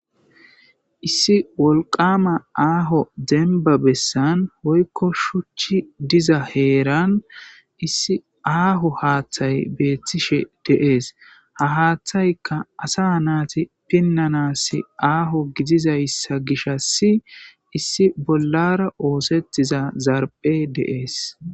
Issi wolqama aaho demba bessan woyikko shuchchi diza heeran issi aaho haatha beettishe dees ha haaththayka asa naati pinanas aaho gidizaysa gishshas bollara oosettiza zarphphey de7ees.